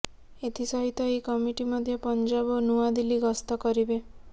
ଏଥି ସହିତ ଏହି କମିଟି ମଧ୍ୟ ପଞ୍ଜାବ ଓ ନୂଆଦିଲ୍ଲୀ ଗସ୍ତ କରିବେ